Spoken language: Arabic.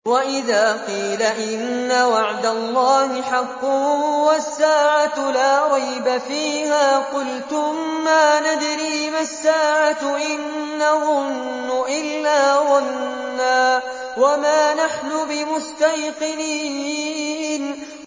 وَإِذَا قِيلَ إِنَّ وَعْدَ اللَّهِ حَقٌّ وَالسَّاعَةُ لَا رَيْبَ فِيهَا قُلْتُم مَّا نَدْرِي مَا السَّاعَةُ إِن نَّظُنُّ إِلَّا ظَنًّا وَمَا نَحْنُ بِمُسْتَيْقِنِينَ